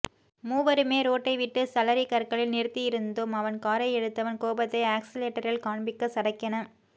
மூவருமே ரோட்டை விட்டு சரளிக்கற்களில் நிறுத்தியிருந்தோம் அவன் காரை எடுத்தவன் கோபத்தை ஆக்ஸிலேட்டரில் காண்பிக்க சடக்கென